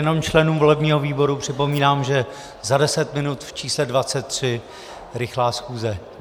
Jenom členům volebního výboru připomínám, že za deset minut v čísle 23 rychlá schůze.